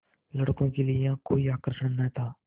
लड़कों के लिए यहाँ कोई आकर्षण न था